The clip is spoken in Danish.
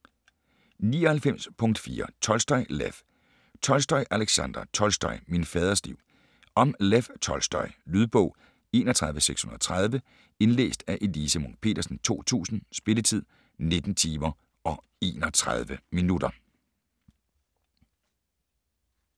99.4 Tolstoj, Lev Tolstoj, Aleksandra: Tolstoj: min faders liv Om Lev Tolstoj. Lydbog 31630 Indlæst af Elise Munch-Petersen, 2000. Spilletid: 19 timer, 31 minutter.